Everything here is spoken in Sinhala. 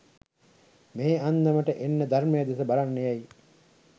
මේ අන්දමට එන්න ධර්මය දෙස බලන්න යැයි